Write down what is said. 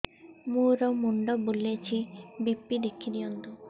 ମୋର ମୁଣ୍ଡ ବୁଲେଛି ବି.ପି ଦେଖି ଦିଅନ୍ତୁ